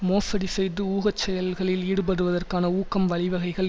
மோசடி செய்து ஊக செயல்களில் ஈடுபடுவதற்கான ஊக்கம் வழிவகைகள்